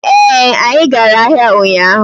ee, anyi gara ahia unyahu